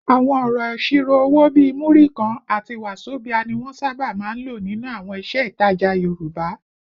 Àwọn ọ̀rọ̀ ìṣirò owó bíi “Múrí kan” àti “wàzobíà” ni wọ́n sábà máa ń lò nínú àwọn iṣẹ́ ìtajà Yorùbá